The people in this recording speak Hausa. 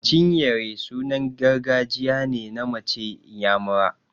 Chinyere sunan gargajiya ne na mace inyamura.